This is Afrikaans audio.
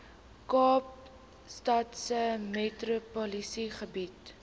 kaapstadse metropolitaanse gebied